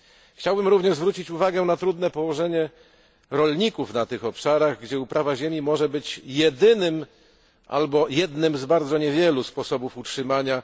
Chciałbym również zwrócić uwagę na trudne położenie rolników na tych obszarach, gdzie uprawa ziemi może być jedynym albo jednym z bardzo niewielu sposobów utrzymania.